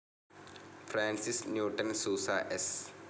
Francis Newton Souza, S.